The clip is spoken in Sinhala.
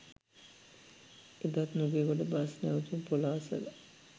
එදත් නුගේගොඩ බස් නැවතුම් පොළ අසළ